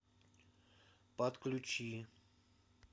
подключи